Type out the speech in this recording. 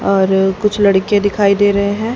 और कुछ लड़के दिखाई दे रहे है।